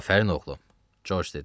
Afərin oğlum, Corc dedi.